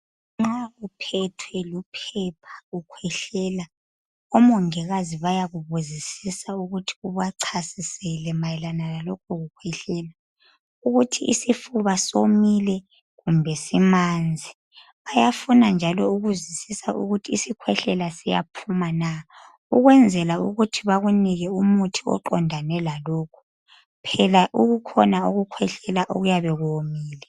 Nxa uphethwe luphepha, ukhwehlela, omongikazi bayakubuzisisa ukuthi ubachasisele mayelana lalokho kukhwehlela ukuthi isifuba somile kumbe simanzi bayafuna njalo ukuzwisisa ukuthi isikhwehlela siyaphuma na ukwenzela ukuthi bakunike umuthi oqondane lalokhu, phela kukhona ukukhwehlela okuyabe kuwomile.